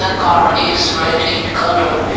car is red in colour.